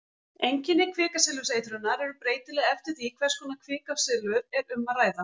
Einkenni kvikasilfurseitrunar eru breytileg eftir því hvers konar kvikasilfur er um að ræða.